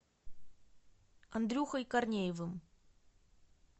андрюхой корнеевым